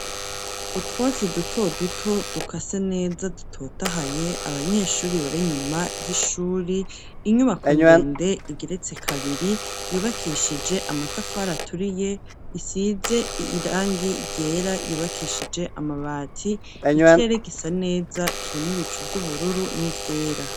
Utwatsi duto duto dukase neza dutotahaye ,abanyeshuri bari nyuma y'ishuri ,inyubako ndende igiretse kabiri ,yubakishije amatafari aturiye ,isize irangi ryera, yubakishije amabati ,ikirere gisa neza, kirimwo ibicu vy'ubururu ,n'ivyera.